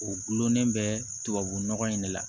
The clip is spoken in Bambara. O gulonnen bɛ tubabu nɔgɔ in de la